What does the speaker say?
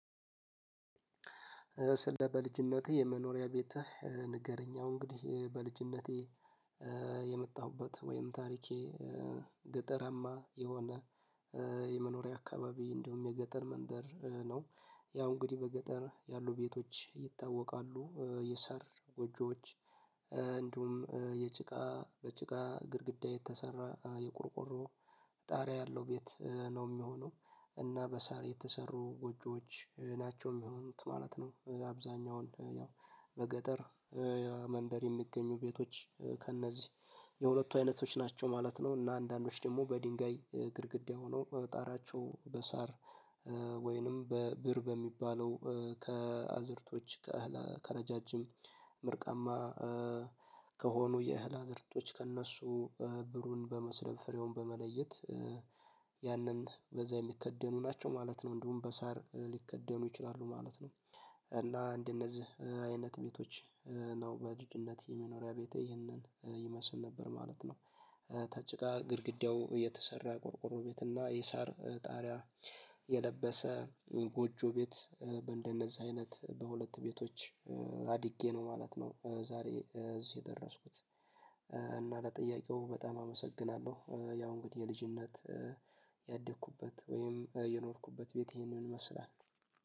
በልጅነቴ የመኖሪያ ቤትህ ንገረኝ? ያው እንግዲህ በልጅነቴ የመጣሁበት ወይም ታሪኬ ገጠራማ የሆነ የመኖሪያ አካባቢ እንደውም የገጠር መንደር ነው። ያው እንግዲህ በገጠር ያሉ ቤቶች ይታወቃሉ የሳር ጎጆዎች እንዲሁም የጭቃ በጭቃ ግድግዳ የተሰራ የቆርቆሮ ጣሪያ ያለው ቤት ነው እሚሆነው እና በሳር የተሰሩ ጎጆዎች ናቸው እሚሆኑት ማለት ነው። አብዛኛውን ያው በገጠር መንደር የሚገኙ ቤቶች ከእነዚህ የሁለቱ አይነቶች ናቸው ማለት ነው። እና አንዳንዶች ደግሞ በድንጋይ ግድግዳ ሆኖ ጣራቸው በሳር ወይንም በብር በሚባለው ከአዝርቶች ከረዣዥም ምርቃማ ከሆኑ የእህል አዝእርቶች ከእነሱ ብሩን በመስለብ ፍሬውን በመለየት ያንን በዛ የሚከደኑ ናቸው ማለት ነው። እንዲሁም በሳር ሊከደኑ ይችላሉ ማለት ነው። እና እንደነዚህ አይነት ቤቶች ነው በልጅነቴ የመኖሪያ ቤቴ ይህንን ይመስል ነበር ማለት ነው። ተጭቃ ግድግዳው የተሰራ ቆርቆሮ ቤት እና የሳር ጣሪያ የለበሰ ጎጆ ቤት እንደነዛ አይነት በሁለት ቤቶች አድጌ ነው ማለት ነው። ዛሬ እዚህ የደረስኩት እና ለጥያቄው በጣም አመሰግናለሁ ያው እንግዲህ የልጅነት ያደኩበት ወይም የኖርኩበት ቤት ይሄንን ይመስላል